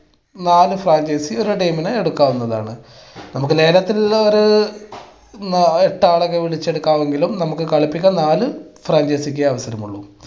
നാല് franchise ഒരു team നെ എടുക്കാവുന്നതാണ്. നമുക്ക് ലേലത്തിൽ ഒരു എട്ട് ആളുകളെ വിളിച്ച് എടുക്കാമെങ്കിലും നമുക്ക് കളിപ്പിക്കാൻ നാല് franchise ക്കെ അവസരമുള്ളൂ.